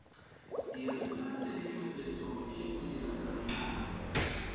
dirisa tshedimosetso e modirisi a